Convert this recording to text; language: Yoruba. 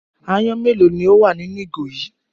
Aáyán mélòó ni ó wà nínú ìgò yìí?